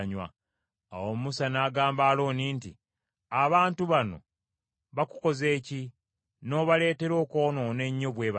Awo Musa n’agamba Alooni nti, “Abantu bano baakukoze ki, n’obaleetera okwonoona ennyo bwe batyo?”